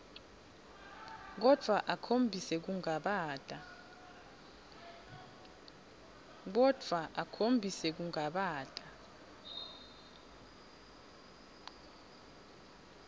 kodvwa akhombise kungabata